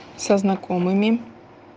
со знакомыми